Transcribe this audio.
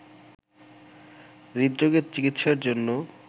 হৃদরোগের চিকিৎসার জন্য